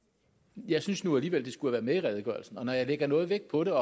jeg synes nu alligevel det skulle have været med i redegørelsen og når jeg lægger noget vægt på det